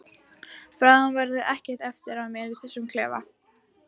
Bráðum verður ekkert eftir af mér í þessum klefa.